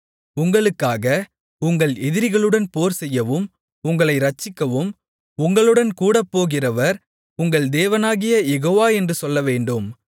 உங்களுக்காக உங்கள் எதிரிகளுடன் போர்செய்யவும் உங்களை இரட்சிக்கவும் உங்களுடன்கூடப் போகிறவர் உங்கள் தேவனாகிய யெகோவா என்று சொல்லவேண்டும்